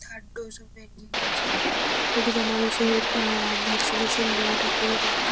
Third dose -ও বেরিয়ে গিয়েছে। প্রতিটা মানুষের আ ভ্যাকসিনেশন নেওয়াটা খুবই দরকার।